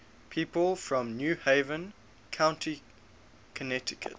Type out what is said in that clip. people from new haven county connecticut